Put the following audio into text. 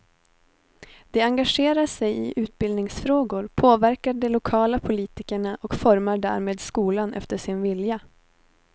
De engagerar sig i utbildningsfrågor, påverkar de lokala politikerna och formar därmed skolan efter sin vilja.